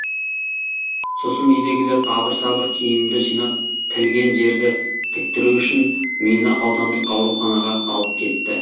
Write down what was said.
сосын үйдегілер абыр сабыр киімімді жинап тілген жерді тіктіру үшін мені аудандық ауруханаға алып кетті